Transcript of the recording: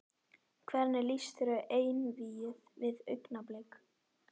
Hvernig lýst þér á einvígið við Augnablik?